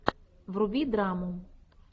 вруби драму